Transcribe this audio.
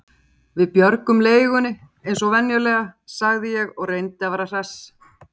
Við björgum leigunni eins og venjulega sagði ég og reyndi að vera hress.